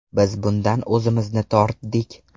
Biz bundan o‘zimizni tortdik.